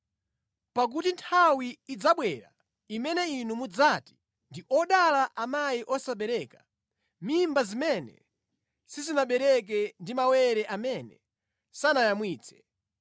Pakuti nthawi idzabwera imene inu mudzati, ‘Ndi odala amayi osabereka, mimba zimene sizinabereke ndi mawere amene sanayamwitse!’